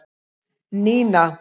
Nína